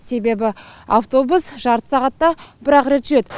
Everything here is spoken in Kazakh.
себебі автобус жарты сағатта бір ақ рет жүреді